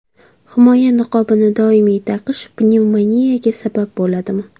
Himoya niqobini doimiy taqish pnevmoniyaga sabab bo‘ladimi?